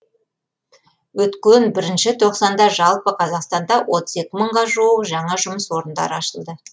өткен бірінші тоқсанда жалпы қазақстанда отыз екі мыңға жуық жаңа жұмыс орындары ашылды